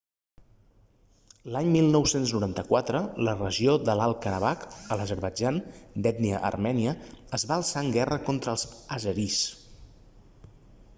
l'any 1994 la regió de l'alt karabakh de l'azerbaidjan d'ètnia armènia es va alçar en guerra contra els àzeris